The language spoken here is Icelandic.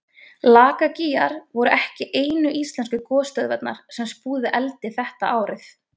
lakagígar voru ekki einu íslensku gosstöðvarnar sem spúðu eldi þetta árið